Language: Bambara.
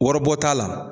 Waribɔ t'a la